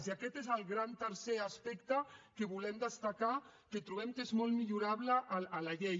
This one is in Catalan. i aquest és el gran tercer aspecte que volem destacar que trobem que és molt millorable en la llei